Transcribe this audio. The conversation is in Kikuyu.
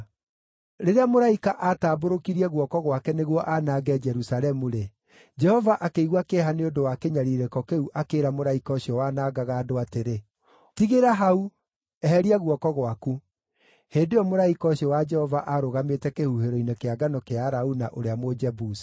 Rĩrĩa mũraika aatambũrũkirie guoko gwake nĩguo aanange Jerusalemu-rĩ, Jehova akĩigua kĩeha nĩ ũndũ wa kĩnyariirĩko kĩu akĩĩra mũraika ũcio wanangaga andũ atĩrĩ, “Tigĩra hau! Eheria guoko gwaku.” Hĩndĩ ĩyo mũraika ũcio wa Jehova aarũgamĩte kĩhuhĩro-inĩ kĩa ngano kĩa Arauna, ũrĩa Mũjebusi.